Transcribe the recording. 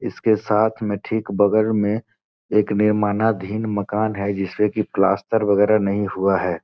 इसके साथ में ठीक बगल में एक निर्माणाधीन मकान है जिसपे की प्लास्टर वगैरा नहीं हुआ है।